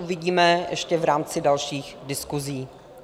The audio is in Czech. Uvidíme ještě v rámci dalších diskusí.